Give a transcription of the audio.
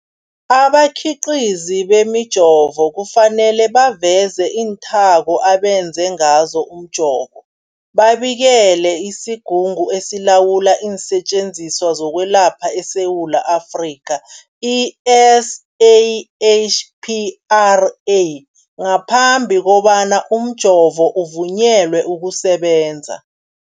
Abakhiqizi bemijovo kufanele baveze iinthako abenze ngazo umjovo, babikele isiGungu esiLawula iinSetjenziswa zokweLapha eSewula Afrika, i-SAHPRA, ngaphambi kobana umjovo uvunyelwe ukusebenza.